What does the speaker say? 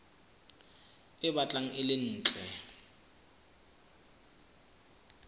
e batlang e le ntle